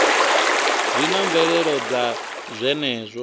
zwi na mvelelo dza zwenezwo